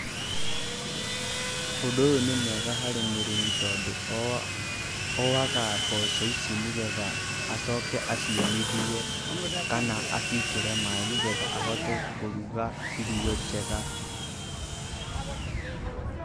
Ũndũ ũyũ nĩ mwega harĩ mũrĩmi tondũ, oaga mboco ici nĩ getha acoke aciũmithie, kana aciĩkĩre maaĩ nĩ getha ahote kũruga irio njega.